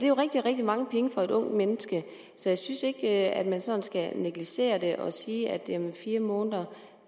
jo rigtig rigtig mange penge for et ungt menneske så jeg synes ikke at man skal sådan negligere det og sige at fire måneder